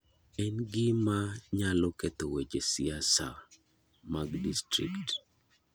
En gima nyalao ketho weche siasa mag distrikt